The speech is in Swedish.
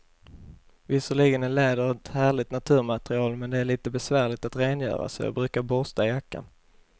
Visserligen är läder ett härligt naturmaterial, men det är lite besvärligt att rengöra, så jag brukar borsta jackan.